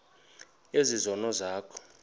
ezi zono zakho